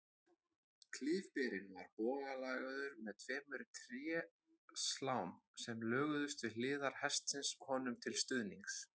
Klyfberinn var bogalagaður með tveimur tréslám sem lögðust við hliðar hestsins honum til stuðnings.